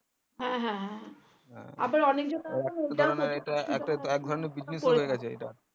হ্যাঁ হ্যাঁ হ্যাঁ